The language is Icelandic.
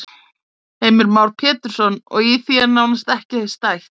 Heimir Már Pétursson: Og í því er nánast ekki stætt?